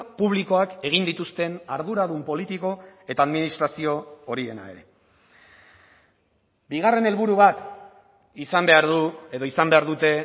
publikoak egin dituzten arduradun politiko eta administrazio horiena ere bigarren helburu bat izan behar du edo izan behar dute